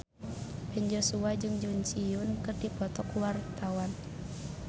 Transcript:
Ben Joshua jeung Jun Ji Hyun keur dipoto ku wartawan